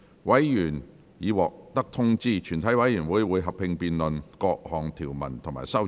委員已獲得通知，全體委員會會合併辯論各項條文及修正案。